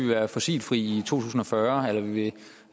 være fossilfri i tusind og fyrre